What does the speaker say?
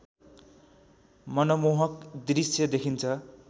मनमोहक दृश्य देखिन्छ